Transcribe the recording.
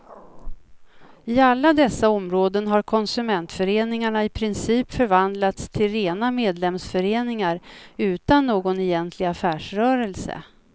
I alla dessa områden har konsumentföreningarna i princip förvandlats till rena medlemsföreningar utan någon egentlig affärsrörelse.